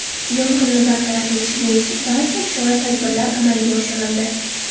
Yong‘inni bartaraf etish bo‘yicha barcha chora-tadbirlar amalga oshirildi.